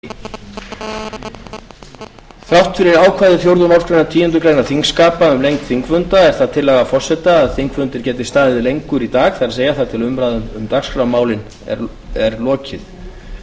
að það þarf að skrifa allt sem forseti segir hér dag þrátt fyrir ákvæði fjórðu málsgreinar tíundu greinar þingskapa um lengd þingfunda er það tillaga forseta að þingfundur geti staðið lengur í dag það er þar til umræðum um dagskrármálin er lokið